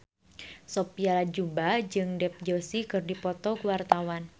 Sophia Latjuba jeung Dev Joshi keur dipoto ku wartawan